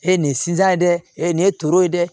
E ye nin siyan ye dɛ e ye nin ye toro ye dɛ